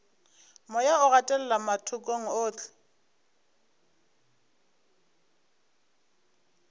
moya o gatelela mathokong ohle